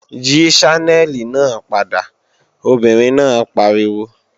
Yí Ṣánẹ́lì náà padà, obìnrin náà pariwo!